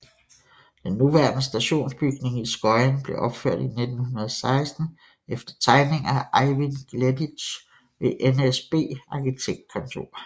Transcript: Den nuværende stationsbygning i Skøyen blev opført i 1916 efter tegninger af Eivind Gleditsch ved NSB Arkitektkontor